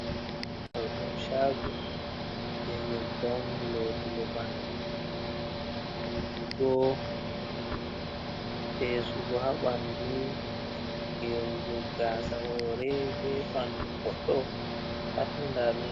Ɗo ɗum chago je nyebbam lotugo ɓanɗu, wujugo, fesugo, ha ɓanɗu, je gerugo gasa hore, be ɓanɗu goɗɗo patni nda ɗum.